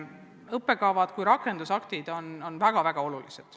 Õppekavad kui rakendusaktid on väga-väga olulised.